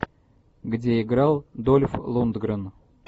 где играл дольф лундгрен